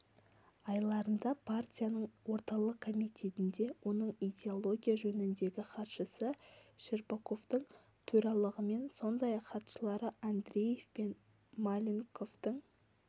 айларында партияның орталық комитетінде оның идеология жөніндегі хатшысы щербаковтың төрағалығымен сондай-ақ хатшылары андреев пен маленковтың